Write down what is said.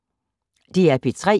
DR P3